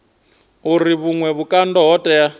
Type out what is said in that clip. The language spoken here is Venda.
uri vhuṅwe vhukando ho tea